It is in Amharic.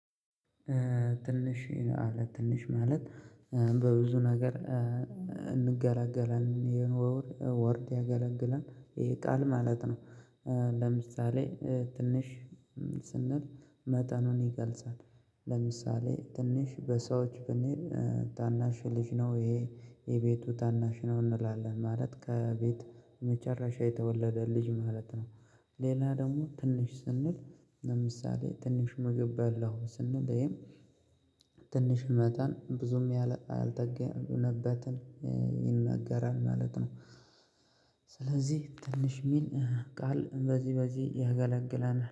ትንሽ አለ ትንሽ ማለት በብዙ ነገር እንገለላለን ይሄን ወር ወርድ ያገለግላል ይሄ ቃል ማለት ነው። ለምሳሌ ትንሽ ስንል መጠኑን ይገልጻል። ለምሳሌ ትንሽ በሰዎች ብንል ታናሽ ልጅ ነው ይሄ የቤቱ ታናሽ ነው እንላለን ማለት ከቤት መጨረሻ የተወለደ ልጅ ማለት ነው። ሌላ ደግሞ ትንሽ ስንል ለምሳሌ ትንሽ ምግብ በላሁ ስንል ይሄም ትንሽ መጠን ብዙም ያልጠገነበትን ይነገራል ማለት ነው። ስለዚህ ትንሽ የሚል ቃል በዚህ በዚህ ያገለግላል